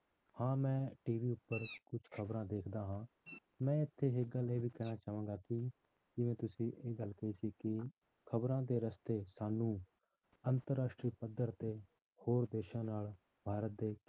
ਹਾਂ ਮੈਂ TV ਉੱਪਰ ਕੁਛ ਖ਼ਬਰਾਂ ਦੇਖਦਾ ਹਾਂ ਮੈਂ ਇੱਥੇ ਇੱਕ ਗੱਲ ਇਹ ਵੀ ਕਹਿਣਾ ਚਾਹਾਂਗਾ ਕਿ ਜਿਵੇਂ ਤੁਸੀਂ ਇਹ ਗੱਲ ਕਹੀ ਸੀ ਕਿ ਖ਼ਬਰਾਂ ਦੇ ਰਸਤੇ ਸਾਨੂੰ ਅੰਤਰ ਰਾਸ਼ਟਰੀ ਪੱਧਰ ਤੇ ਹੋਰ ਦੇਸਾਂ ਨਾਲ ਭਾਰਤ ਦੇ